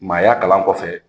Maaya kalan kɔfɛ